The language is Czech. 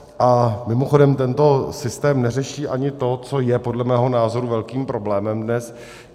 A mimochodem tento systém neřeší ani to, co je podle mého názoru velkým problémem dnes.